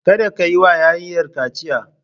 Kada ka yi wa yarinyar kaciya!